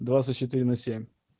двадцать четыре на семь